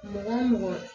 Mɔgɔ mɔgɔ